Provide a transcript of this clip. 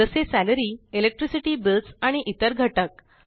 जसे salary electricity bills आणि इतर घटक